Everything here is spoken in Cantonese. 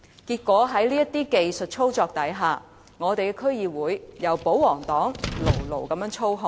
結果，在這些技術操作下，本港的區議會由保皇黨牢牢操控。